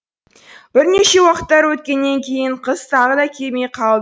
бірнеше уақыттар өткеннен кейін қыз тағы да келмей қал